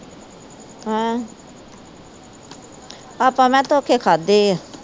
ਹੈਂ ਆਪਾ ਮੈ ਕਿਹਾ ਧੋਖੇ ਖਾਦੇ ਆ।